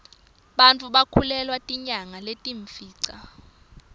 bantfu bakhulelwa tinyanga letiyimfica